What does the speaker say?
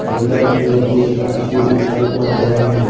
अंदर की ओर कुछ शख्स भी दिखाई पर रहे हैं।